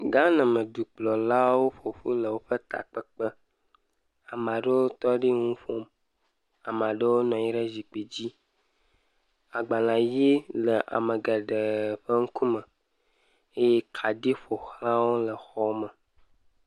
Ghana me dukplɔlawo ƒoƒu le woƒe takpekpe ame aɖewo tɔ ɖi enu ƒom, ame aɖewo nɔ anyi ɖe zikpui dzi, agbalẽ ʋi le ame geɖe ƒe ŋkume eye kaɖi ƒoxlawo le xɔme.